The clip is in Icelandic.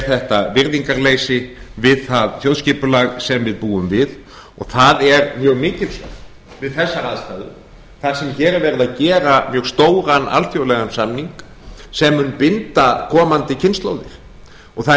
þetta virðingarleysi við það þjóðskipulag sem við búum við og það er mjög mikilsvert við þessar aðstæður þar sem hér er verið að gera mjög stóran alþjóðlegan samning sem mun binda komandi kynslóðir það er